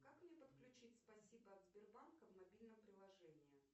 как мне подключить спасибо от сбербанка в мобильном приложении